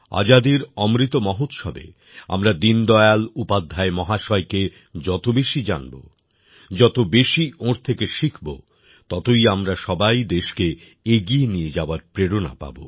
আজাদীর অমৃত মহোৎসবে আমরা দীনদয়াল উপাধ্যায় মহাশয় কে যত বেশি জানব যত বেশি ওঁর থেকে শিখবো ততই আমরা সবাই দেশকে এগিয়ে নিয়ে যাওয়ার প্রেরণা পাব